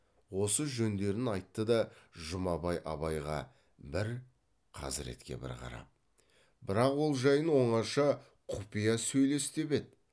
осы жөндерін айтты да жұмабай абайға бір хазіретке бір қарап бірақ ол жайын оңаша құпия сөйлес деп еді